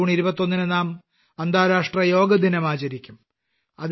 June 21 ന് നാം അന്താരാഷ്ട്രാ യോഗാദിനം ആചരിക്കും